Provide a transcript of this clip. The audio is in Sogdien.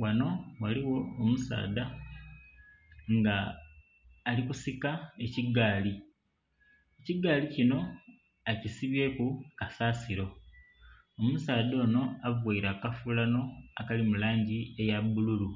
Ghano ghaligho omusaadha nga ali kusika ekigaali, ekigaali kinho akisibyeku kasasilo, omusaadha onho avaire akafulano akali mu langi eya bbululu